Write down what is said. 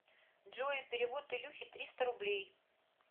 джой перевод илюхе триста рублей